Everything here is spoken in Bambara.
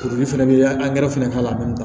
bɛ fɛnɛ k'a la a bɛ na